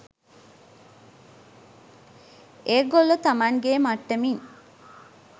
ඒගොල්ලෝ තමන්ගේ මට්ටමින්